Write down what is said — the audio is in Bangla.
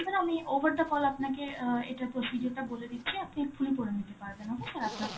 আমি over the call আপনাকে অ্যাঁ এটার procedure টা বলে দিচ্ছি. আপনি এক্ষুনি করে নিতে পারবেন, okay sir আপনার